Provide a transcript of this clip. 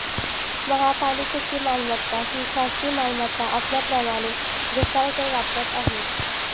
महापालिकेची मालमत्ता ही खासगी मालमत्ता असल्याप्रमाणे घोसाळकर वापरत आहेत